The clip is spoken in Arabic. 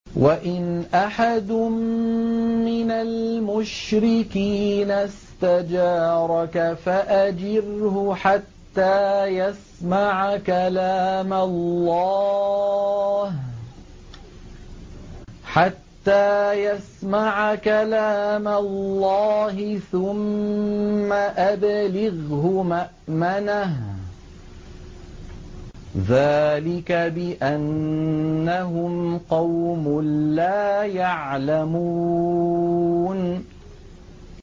وَإِنْ أَحَدٌ مِّنَ الْمُشْرِكِينَ اسْتَجَارَكَ فَأَجِرْهُ حَتَّىٰ يَسْمَعَ كَلَامَ اللَّهِ ثُمَّ أَبْلِغْهُ مَأْمَنَهُ ۚ ذَٰلِكَ بِأَنَّهُمْ قَوْمٌ لَّا يَعْلَمُونَ